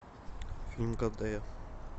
фильм когда я